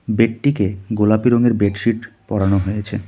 বেডটিকে গোলাপি রঙের বেডশিট পড়ানো হয়েছে.